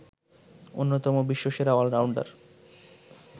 অন্যতম বিশ্বসেরা অলরাউন্ডার